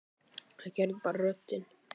Það er ekki bara röddin.